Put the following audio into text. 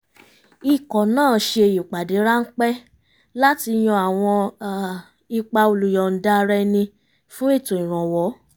ikọ̀ náà ṣe ìpàdé ráńpẹ́ láti yan àwọn ipa olùyọ̀ǹda-ara-ẹni fún ètò ìrànwọ́